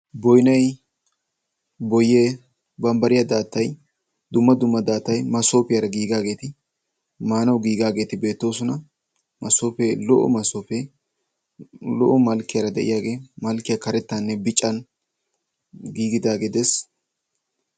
boynnay, boyye, bambbariya daattay, dumma dumma daattay masoppiyara giigaageeti maanaw giigaageeti beettoosona, maasoppe, lo''o massopee lo''o malkkiyaara de'iyaagee malkkiyaa karettanne biccan giigidaage dees.